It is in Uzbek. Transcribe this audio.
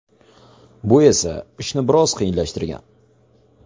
Bu esa ishni biroz qiyinlashtirgan.